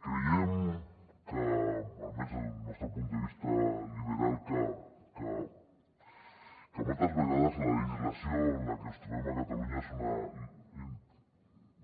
creiem almenys des del nostre punt de vista liberal que moltes vegades la legislació que ens trobem a catalunya és una